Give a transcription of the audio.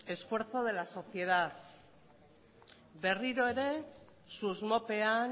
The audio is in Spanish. esfuerzo de la sociedad berriro ere susmopean